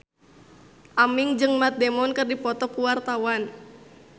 Aming jeung Matt Damon keur dipoto ku wartawan